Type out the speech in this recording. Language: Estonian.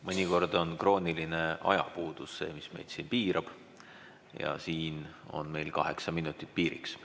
Mõnikord on krooniline ajapuudus see, mis meid piirab ja siin on meil kaheksa minutit piiriks.